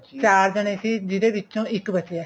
ਚਾਰ ਜਾਣੇ ਸੀ ਜਿਹਦੇ ਵਿੱਚੋਂ ਇਕ ਬਚਿਆ